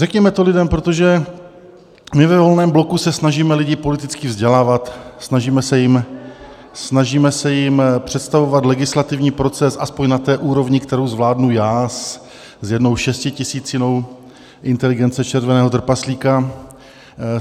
Řekněme to lidem, protože my ve Volném bloku se snažíme lidi politicky vzdělávat, snažíme se jim představovat legislativní proces alespoň na té úrovni, kterou zvládnu já s jednou šestitisícinou inteligence červeného trpaslíka.